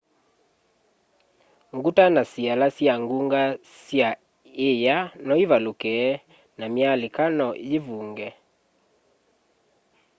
nguta na siala sya ngunga sya iya noivaluke na myalika no yivunge